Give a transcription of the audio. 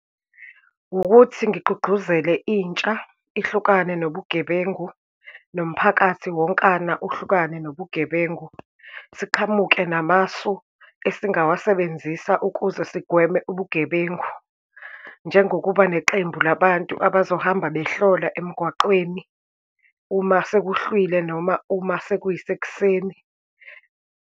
Ukuthi ngigqugquzele intsha ihlukane nobugebengu, nomphakathi wonkana uhlukane nobugebengu. Siqhamuke namasu esingawasebenzisa ukuze sigweme ubugebengu, njengokuba neqembu labantu abazohamba behlola emgwaqweni uma sekuhlwile, noma uma sekuyisekuseni.